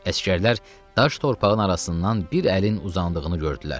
Əsgərlər daş torpağın arasından bir əlin uzandığını gördülər.